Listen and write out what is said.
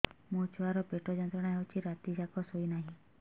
ମୋ ଛୁଆର ପେଟ ଯନ୍ତ୍ରଣା ହେଉଛି ରାତି ଯାକ ଶୋଇନାହିଁ